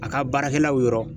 A ka baarakɛlaw yɔrɔ